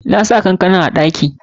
Nasan kankanar a ɗaki.